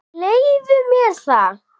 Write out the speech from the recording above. Leyfðu mér það,